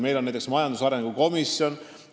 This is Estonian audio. Meil on majandusarengu komisjon.